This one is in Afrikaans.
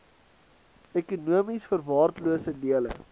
ekonomies verwaarloosde dele